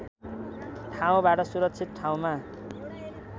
ठाउँबाट सुरक्षित ठाउँमा